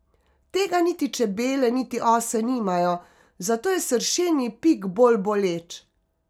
Tega niti čebele niti ose nimajo, zato je sršenji pik bolj boleč.